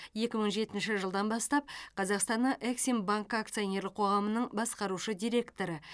екі мың жетінші жылдан бастап қазақстанның эксимбанкі акционерлік қоғамының басқарушы директоры